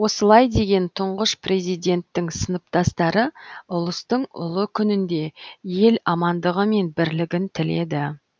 осылай деген тұңғыш президенттің сыныптастары ұлыстың ұлы күнінде ел амандығы мен бірлігін тіледі